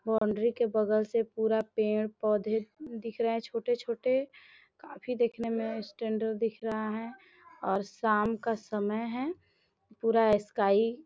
boundary के बगल से पूरा पेड़-पौधे दिख रहे है छोटे-छोटे काफी देखने में स्टैंडर्ड दिख रहा है और शाम का समय है पूरा स्काई --